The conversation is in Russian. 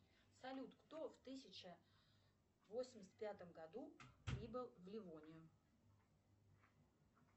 салют кто в тысяча восемьдесят пятом году прибыл в левонию